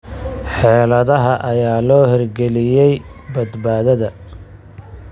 Xeeladaha ayaa loo hirgeliyay badbaadada.